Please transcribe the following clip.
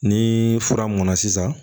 Ni fura mɔnna sisan